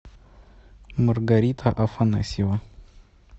маргарита афанасьева